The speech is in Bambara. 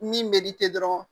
Ni dɔrɔn